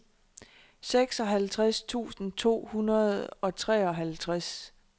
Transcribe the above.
seksoghalvtreds tusind to hundrede og treoghalvtreds